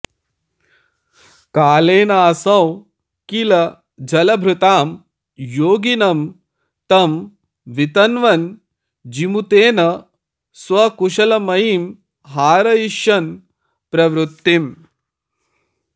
कालेनाऽसौ किल जलभृतां योगिनं तं वितन्वन् जीमूतेन स्वकुशलमयीं हारयिष्यन् प्रवृत्तिम्